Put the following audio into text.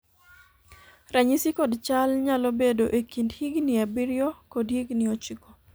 ranyisi kod chal nyalo bedo e kind higni abiriyo kod higni ochiko